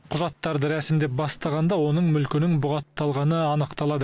құжаттарды рәсімдеп бастағанда оның мүлкінің бұғатталғаны анықталады